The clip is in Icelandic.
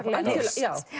nyrst